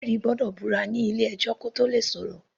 Ẹlẹ́rìí gbọ́dọ̀ búra nílé ẹjọ́ kí Ó tóò le sọ̀rọ̀.